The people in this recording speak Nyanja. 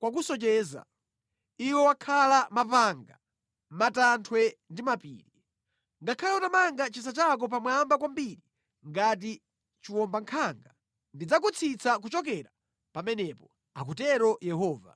kwakusocheretsa, iwe amene umakhala mʼmapanga a mʼmatanthwe ndi mʼmapiri. Ngakhale utamanga chisa chako pamwamba kwambiri ngati chiwombankhanga, ndidzakutsitsa pansi kuchokera kumeneko,” akutero Yehova.